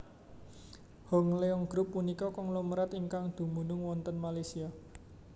Hong Leong Group punika konglomerat ingkang dumunung wonten Malaysia